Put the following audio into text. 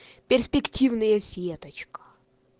перспективные сеточка